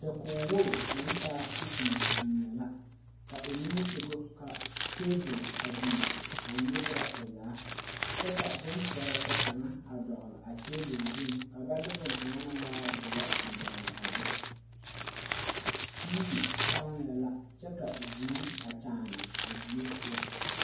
Dakogi wogi naŋ taa kosime biŋee sogɔ ka tebul a biŋ a nyerɛ o zaa kyɛ ka boŋ pɛrɛtɛ kaŋ a dogli a tebul zuŋ ka ba de boŋkaŋa naŋ waa doɔ a dogli a be tiivi saaŋɛɛ kyɛ ka vūū a kyaani a die poɔ.